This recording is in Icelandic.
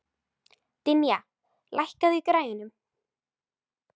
Dynja, lækkaðu í græjunum.